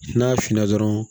N'a finna dɔrɔn